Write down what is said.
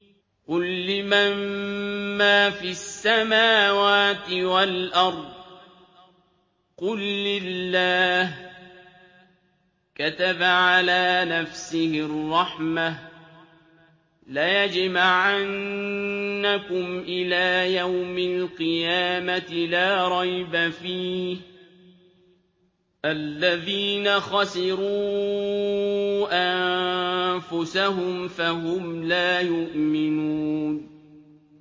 قُل لِّمَن مَّا فِي السَّمَاوَاتِ وَالْأَرْضِ ۖ قُل لِّلَّهِ ۚ كَتَبَ عَلَىٰ نَفْسِهِ الرَّحْمَةَ ۚ لَيَجْمَعَنَّكُمْ إِلَىٰ يَوْمِ الْقِيَامَةِ لَا رَيْبَ فِيهِ ۚ الَّذِينَ خَسِرُوا أَنفُسَهُمْ فَهُمْ لَا يُؤْمِنُونَ